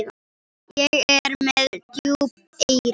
Ég er með djúp eyru.